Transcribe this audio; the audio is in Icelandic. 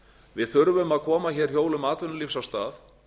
við þurfum að koma hér hjólum atvinnulífs af stað